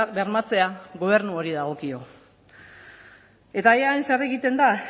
bermatzea gobernu honi dagokio eta eaen zer egiten da